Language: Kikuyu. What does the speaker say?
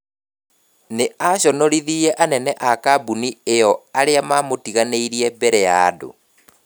Nĩ aconorithirie anene a kambuni ĩyo arĩa mamũtiganĩrie mbere ya andũ.